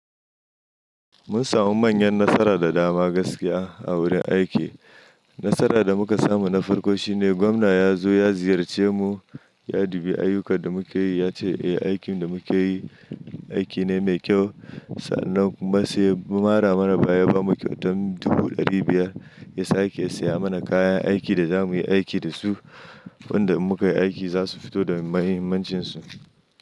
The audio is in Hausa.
Mun samu manyan nasara da dama gaskiya a wurin aiki. Nasara da muka samu na farko shine gwamna ya zo ya ziyarce mu, ya dubi ayyukan da muke yi, ya ce eh, aikin da muke yi aiki ne mai kyau. Sannan kuma sai ya mara mana baya ya ba mu kyauta dubu ɗari biyar. Ya sa ake saya mana kayan aiki da za mu yi aiki da su. Wanɗa muka yi aiki za su fito da muhimmancinsu.